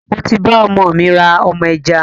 Mo ti bá ọmọ mi rà ọmọ ajá